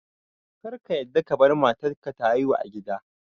Kar ka yadda kabar matar ka ta haihu a gida